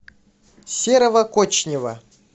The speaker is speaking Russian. серого кочнева